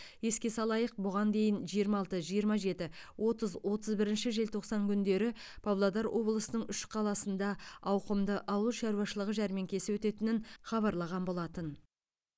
еске салайық бұған дейін жиырма алты жиырма жеті отыз отыз бірінші желтоқсан күндері павлодар облысының үш қаласында ауқымды ауыл шаруашылығы жәрмеңкесі өтетінін хабарлаған болатын